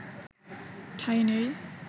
ঠাঁই নেই